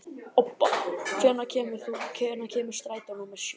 Obba, hvenær kemur strætó númer sjö?